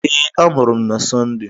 Ee, amụrụ m na Sọnde.